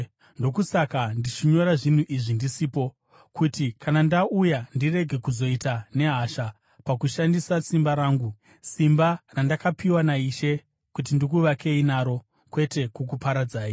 Ndokusaka ndichinyora zvinhu izvi ndisipo, kuti kana ndauya ndirege kuzoita nehasha pakushandisa simba rangu, simba randakapiwa naIshe kuti ndikuvakei naro, kwete kukuparadzai.